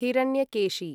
Hiranyakeshi